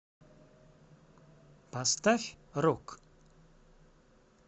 поставь рок